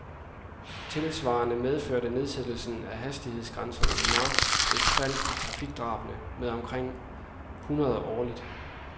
Tilsvarende medførte nedsættelsen af hastighedsgrænserne i marts et fald i trafikdrabene med omkring hundrede årligt.